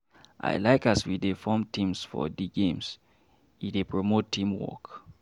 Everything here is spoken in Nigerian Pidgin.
I like as we form teams for di games, e dey promote teamwork.